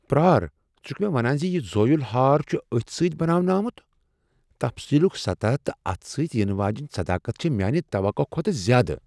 پرار، ژٕ چھکھٕ مےٚ ونان ز یہ زٲویُل ہار چھ اتھٕ سۭتۍ بناونہٕ آمت؟ تفصیلُک سطح تہٕ اتھ سۭتۍ ینہٕ واجیٚنۍ صداقت چھ میانہ توقع کھوتہٕ زیادٕ۔